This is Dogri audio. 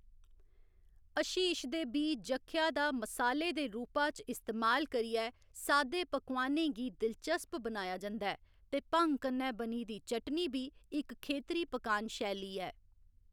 हशीश दे बीऽ जख्या दा मसाले दे रूपा च इस्तेमाल करियै सादे पकोआनें गी दिलचस्प बनाया जंदा ऐ, ते भंङ कन्नै बनी दी चटनी बी इक खेतरी पकान शैली ऐ।